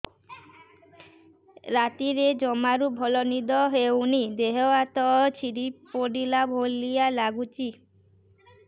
ରାତିରେ ଜମାରୁ ଭଲ ନିଦ ହଉନି ଦେହ ହାତ ଛିଡି ପଡିଲା ଭଳିଆ ଲାଗୁଚି